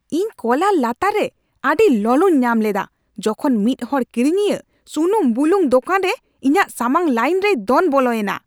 ᱤᱧ ᱠᱚᱞᱟᱨ ᱞᱟᱛᱟᱨ ᱨᱮ ᱟᱹᱰᱤ ᱞᱚᱞᱚᱧ ᱧᱟᱢ ᱞᱮᱫᱟ ᱡᱚᱠᱷᱚᱱ ᱢᱤᱫᱦᱚᱲ ᱠᱤᱨᱤᱧᱤᱭᱟᱹ ᱥᱩᱱᱩᱢᱼᱵᱩᱞᱩᱝ ᱫᱳᱠᱟᱱ ᱨᱮ ᱤᱧᱟᱹᱜ ᱥᱟᱢᱟᱝ ᱞᱟᱭᱤᱱ ᱨᱮᱭ ᱫᱚᱱ ᱵᱚᱞᱚᱭᱮᱱᱟ ᱾